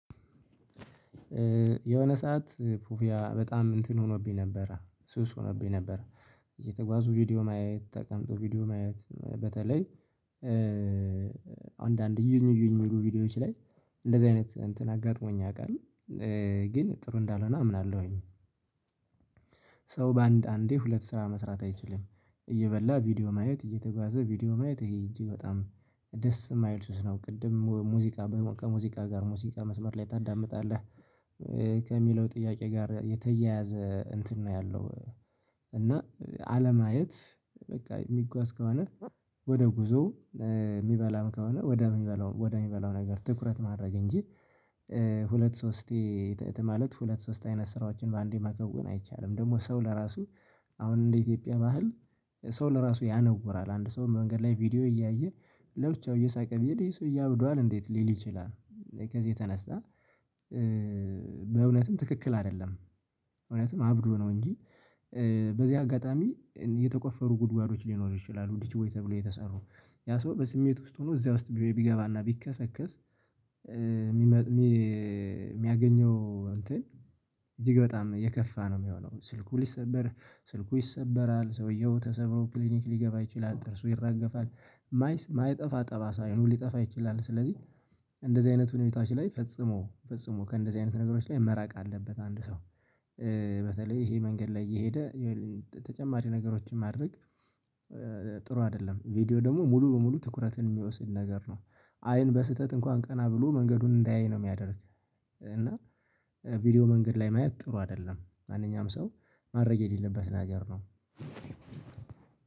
የሆነ ሰዓት ፑፊያ በጣም እንትን ሆኖብኝ ነበረ ሱስ ሆኖብኝ ነበረ። እየተጓዙ ቪዲዮ ማየት ተቀምጦ ቪዲዮ ማየት በተለይ አንዳንድ እዩኝ እዩኝ የሚሉ ቪዲዮዎች ላይ እንደዚህ አይነት እንትን አጋጥሞኝ ያቃል ግን ጥሩ እንዳልሆነ አምናለሁኝ። ሰው በአንድ አንዴ ሁለት ስራ መስራት አይችልም እየበላ ቪዲዮ ማየት እየተጓዘ ቪዲዮ ማየት ይሄ እጂግ በጣም ደስ የማይል ሱስ ነው። ቅድም ሙዚቃ ከሙዚቃ ጋር ሙዚቃ መስመር ላይ ታዳምጣለህ ከሚለው ጥያቄ ጋር የተያያዘ እንትን ነው ያለው። እና አለማየት በቃ የሚጓዝ ከሆነ ወደ ጉዞ የሚበላም ከሆነ ወደ ሚበላው ወደ ሚበላው ነገር ትኩረት ማድረግ እንጂ ሁለት ሶስቴ ማለት ሁለት ሶስት አይነት ስራዎችን በአንዴ መከወን አይቻልም። ደግሞ ሰው ለራሱ አሁን እንደ ኢትዮጵያ በሀል ሰው ለራሱ ያነወራል አንድ ሰው መንገድ ላይ ቪዲዮ እያየ ለብቻው እየሳቀ ቢሄድ ይሄ ሰወዬ እብዷዋል እንዴት ሊል ይችላል? ከዚህ የተነሳ በእውነትም ትክክል አይደለም። እውነትም አብዶ ነው እንጂ። በዚህ አጋጣሚ የተቆፈሩ ጉድጓዶች ሊኖሩ ይችላሉ ዲሽ ቦይ ተብሎ የተሰሩ ያ ሰው በስሜት ውስጥ ሆኖ እዚያ ውስጥ ቢገባና ቢከሰከስ። የሚያገኘው እንትን እጅግ በጣም የከፋ ነው የሚሆነው። ስልኩ ሊሰበር ስልኩ ይሰበራል ሰውየው ተሰብሮ ክሊኒክ ሊገባ ይችላል ጥርሱ ይራገፋል የማይጠፋ ጠባሳ አይኑ ሊጠፋ ይችላል። ስለዚህ እንደዚህ አይነቱን ሁኔታዎች ላይ ፈጽሞ ፈጽሞ ከእንደዚህ አይነት ነገሮች ላይ መራቅ አለበት አንድ ሰው በተለይ ይሄ መንገድ ላይ እየሄደ ተጨማሪ ነገሮችን ማድረግ ጥሩ አይደለም። ቪዲዮ ደግሞ ሙሉ በሙሉ ትኩረትን የሚወስድ ነገር ነው። አይን በስህተት እንኳን ቀና ብሎ መንገዱን እንዳያይ ነው የሚያደርግ እና ቪዲዮ መንገድ ላይ ማየት ጥሩ አይደለም። ማንኛውም ሰው ማድረግ የሌለበት ነገር ነው።